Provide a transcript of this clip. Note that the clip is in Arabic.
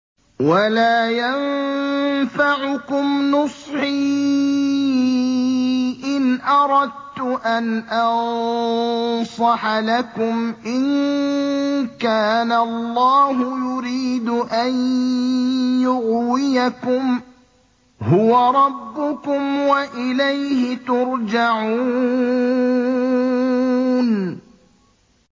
وَلَا يَنفَعُكُمْ نُصْحِي إِنْ أَرَدتُّ أَنْ أَنصَحَ لَكُمْ إِن كَانَ اللَّهُ يُرِيدُ أَن يُغْوِيَكُمْ ۚ هُوَ رَبُّكُمْ وَإِلَيْهِ تُرْجَعُونَ